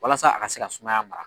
Walasa a ka se ka sumaya mara